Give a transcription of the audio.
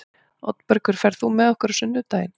Oddbergur, ferð þú með okkur á sunnudaginn?